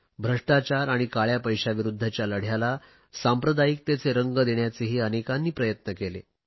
भ्रष्टाचार आणि काळया पैशाविरुध्दच्या लढयाला सांप्रदायिकतेचे रंग देण्याचेही अनेकांनी प्रयत्न केले